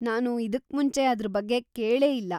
ನಾನು ಇದಕ್ಮುಂಚೆ ಅದ್ರ ಬಗ್ಗೆ ಕೇಳೇ ಇಲ್ಲ.